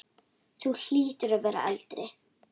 Þú hlýtur að vera eldri!